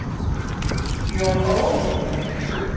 Jón Ól.